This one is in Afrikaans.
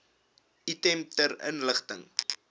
item ter inligting